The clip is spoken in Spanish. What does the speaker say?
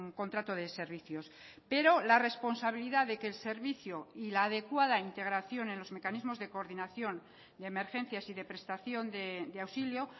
contrato de servicios pero la responsabilidad de que el servicio y la adecuada integración en los mecanismos de coordinación de emergencias y de prestación de auxilio